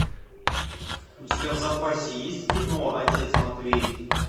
у тебя в запасе есть кино отец матвей